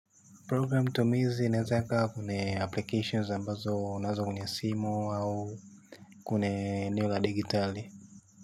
Program tumizi inaeaza ikawa ni applications ambazo unaweka kwenye simu au kuna eneo la digitali.